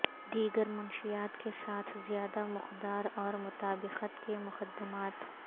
دیگر منشیات کے ساتھ زیادہ مقدار اور مطابقت کے مقدمات